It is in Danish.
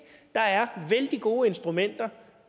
der er vældig gode instrumenter